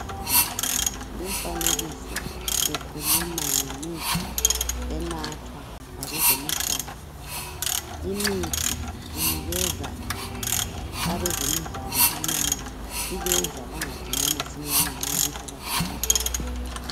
Umfanekiso ukhuluma ngemithi enathwa ngabezemidlalo, limithi inikeza abezemidlalo amanda ibenza bangadinwa masinyane nxa bephakathi kwemidlalo.